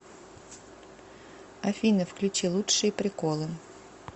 афина включи лучшие приколы